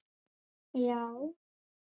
Já?